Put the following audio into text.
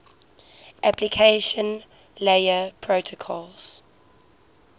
application layer protocols